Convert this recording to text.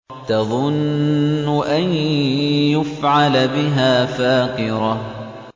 تَظُنُّ أَن يُفْعَلَ بِهَا فَاقِرَةٌ